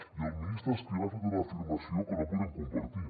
i el ministre escrivá ha fet una afirmació que no podem compartir